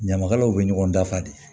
Ɲamakalaw bɛ ɲɔgɔn dafa de